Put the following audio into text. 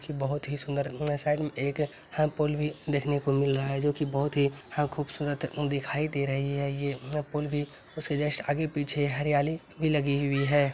बहोत ही सुंदर न साइड मई एक पूल देखने को मिल रहा है जो कि बहुत ह खूबसूरत दिखाई दे रहा है वह पूल भी उस पूल के आगे पीछे जस् हरियाली लगी हुईं है |